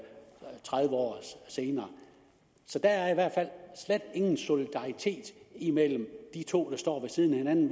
tredive år senere så der er i hvert fald slet ingen solidaritet imellem de to der står ved siden af hinanden